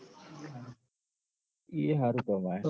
એ ય હારું કમાય હ